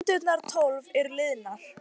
Stundirnar tólf eru liðnar.